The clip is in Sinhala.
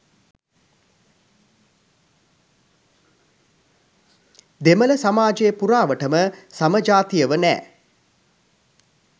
දෙමල සමාජය පුරාවටම සමජාතියව නෑ.